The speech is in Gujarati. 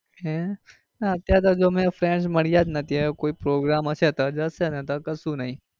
હેં ના અત્યારે તો અમે હજુ friends મળ્યા જ નથી. હવે કોઈ program હશે તો જશે નતર તો કશુ નઈ.